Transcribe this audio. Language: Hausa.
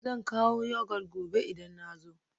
Zan kawo Yogurt gobe idan na zo